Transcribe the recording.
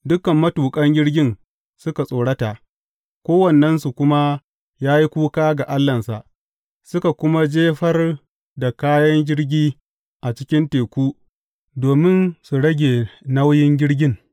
Dukan matuƙan jirgin suka tsorata, kowannensu kuma ya yi kuka ga allahnsa, suka kuma jefar da kayan jirgi a cikin teku domin su rage nauyin jirgin.